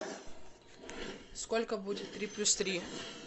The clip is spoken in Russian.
сколько будет три плюс три